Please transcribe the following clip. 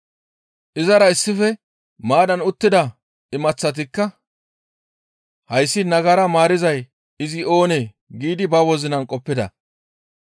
Izara issife maaddan uttida imaththatikka, «Hayssi nagara maarizay izi oonee?» giidi ba wozinara qoppida.